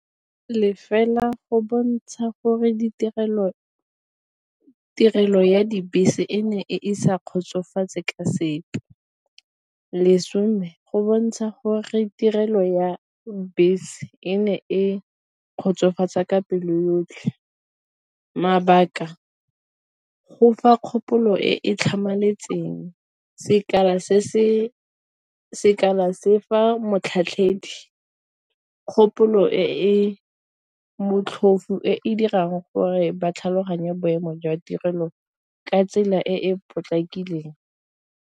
Le fela go bontsha gore tirelo ya dibese e ne e sa kgotsofatse ka sepe, lesome go bontsha gore tirelo ya bese e ne e kgotsofatsa ka pelo yotlhe, mabaka go fa kgopolo e e tlhamaletseng, se fa motlhatlhedi kgopolo e e motlhofu e e dirang gore ba tlhaloganye boemo jwa tirelo ka tsela e e potlakileng.